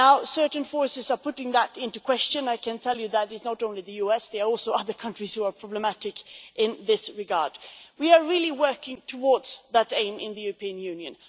Certain forces are putting that into question. I can tell you that it is not only the US, there are also other countries who are problematic in this regard, but we are really working towards that aim in the European Union.